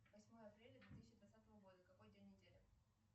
восьмое апреля две тысячи двадцатого года какой день недели